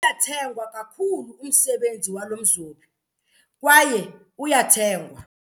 Uyathengwa kakhulu umsebenzi walo mzobi kwaye uyathengwa.